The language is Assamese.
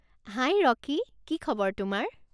হাই ৰকী। কি খবৰ তোমাৰ?